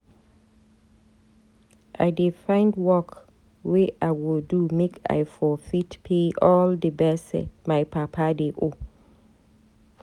I dey find work wey I go do make I for fit pay all di gbese my papa dey owe.